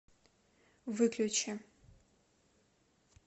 выключи